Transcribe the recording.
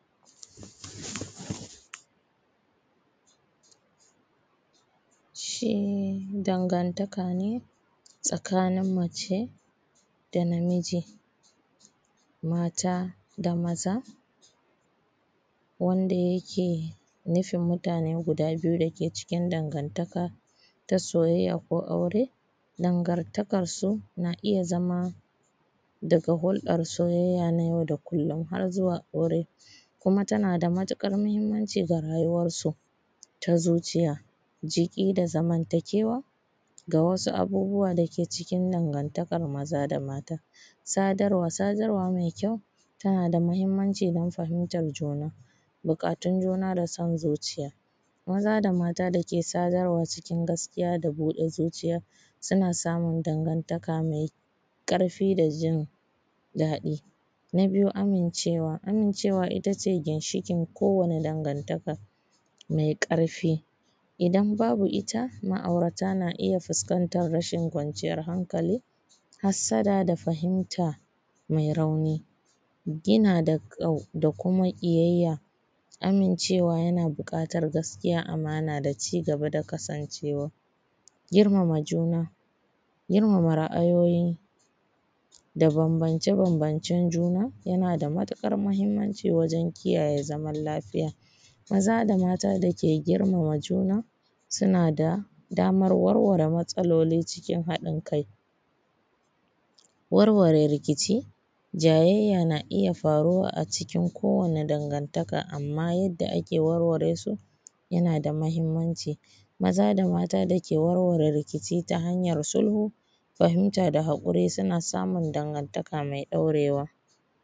Shi dangantaka ne tsakanin mace da na miji, mata da maza wanda yake nufin mutane guda biyu dake cikin dangantaka ta soyayya ko aure, dangantakan so na iya zama daga hurɗan soyayya na yau da kullon zuwa aure kuma tana da matuƙar mahinamnci ga rayuwansu da zuciy,a jiki da zamantakewa. Ga wasu abubuwa dake cikin dangantakan maza da mata: sadarwa mai kyau tana da mahinmanci don fahimtan juna, buƙatun juna da san zuciya, mata da maza da ke sadarwa cikin gaskiya da buɗe zuciya suna samun dangantaka mai ƙarfi da jin daɗi. Na biyu amincewa, amincewa ita ce ginshiƙin ko wace danagantaka mai ƙarfi idan babu ita ma’aurata na iya fiskantan rashin kwanciyan hankali, hassada da fahimta mai rauni da kuma ƙiyayya. Amincewa yana buƙatan gaskiya, amana da cigaba da kasancewa girmama juna, girmama ra’ayoyi da bambance-bambance juna, yana da matuƙar mahinmanci wajen kiyaye zaman lafiya, maza da mata dake girmama juna suna da daman warware matsaloli cikin haɗin kai, warware rikici, jayayya na iya faruwa a cikin ko wani dangantaka amma yanda kake warware su yana da mahinmanci maza da mata da ke warware rikici ta hanyan sulhu, fahimta da haƙuri suna samun dangantaka mai ɗaurewa.